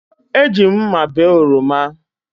Eji m mma bee oroma